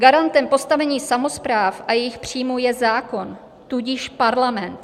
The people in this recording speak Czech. Garantem postavení samospráv a jejich příjmů je zákon, tudíž Parlament.